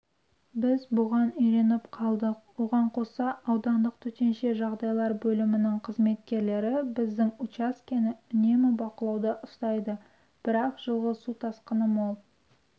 біз бұған үйреніп қалдық оған қоса аудандық төтенше жағдайлар бөлімінің қызметкерлері біздің учаскені үнемі бақылауда ұстайды бірақ жылғы су тасқыны мол